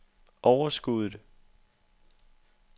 overskuddet